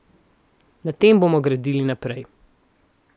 Na tem bomo gradili naprej.